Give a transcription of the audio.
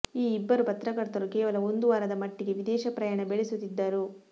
ಈ ಇಬ್ಬರು ಪತ್ರಕರ್ತರು ಕೇವಲ ಒಂದು ವಾರದ ಮಟ್ಟಿಗೆ ವಿದೇಶ ಪ್ರಯಾಣ ಬೆಳೆಸುತ್ತಿದ್ದರು